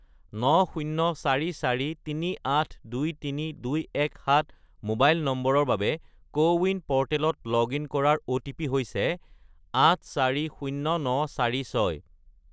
90443823217 mobile নম্বৰৰ বাবে CoWIN প'ৰ্টেলত লগ ইন কৰাৰ অ'টিপি হৈছে 840946